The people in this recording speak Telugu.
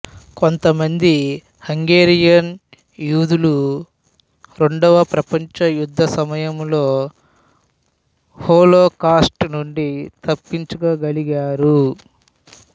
కొంతమంది హంగేరియన్ యూదులు రెండవ ప్రపంచ యుద్ధం సమయంలో హోలోకాస్టు నుండి తప్పించుకోగలిగారు